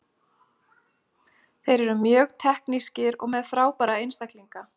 Þeir eru mjög teknískir og með frábæra einstaklinga.